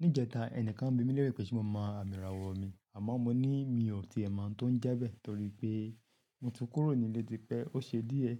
Ní ìjẹta, ẹnìkan bí mi lérè pé ṣé mo mọ àmì ìràwọ̀ mi, àmọ́ mo ní mi ò ti è mọ̀ oun tó ń jẹ bẹ́ẹ̀ torí pẹ́ mo ti kúrò nílé típẹ́ ó ṣe díẹ̀.